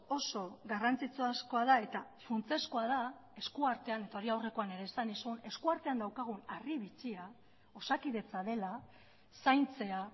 oso garrantzitsu askoa da eta funtsezkoa da eskuartean eta hori aurrekoan ere esan nizun eskuartean daukagun harri bitxia osakidetza dela zaintzea